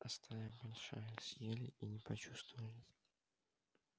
а стая большая съели и не почувствовали